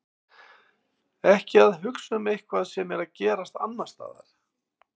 Ekki að hugsa um eitthvað sem er að gerast annars staðar.